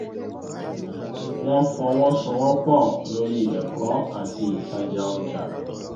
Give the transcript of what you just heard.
wọ́n fọwọ́sowọpọ̀ lori ẹ̀kọ́ àti ìtajà ọjà